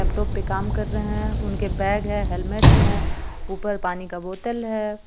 Laptop पे काम कर रहे हे उनके बेग हे हेलमेटस हे ऊपर पानी का बॉटल हे.